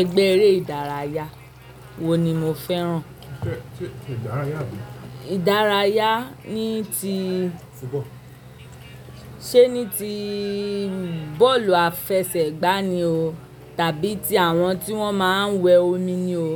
Ẹgbẹ́ eré ìdárayá wo ni mo fẹ́ràn? Ìdárayá ní ti, ṣe ní ti bọ́ọ̀lù àfẹsẹ̀gbá ni o tàbí ti àwọn tí wọ́n máa ń wẹ omi ni o,